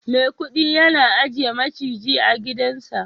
maikudi ya ajiye maciji a gidansa